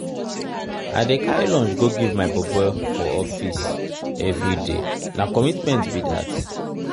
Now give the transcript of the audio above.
i dey carry lunch go give my bobo for office everyday na commitment be dat.